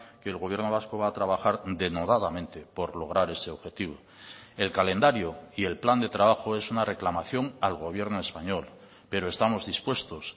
que el gobierno vasco va a trabajar denodadamente por lograr ese objetivo el calendario y el plan de trabajo es una reclamación al gobierno español pero estamos dispuestos